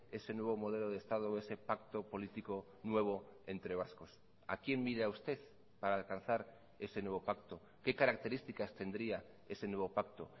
ese nuevo modelo de estado o ese pacto político nuevo entre vascos a quién mira usted para alcanzar ese nuevo pacto qué características tendría ese nuevo pacto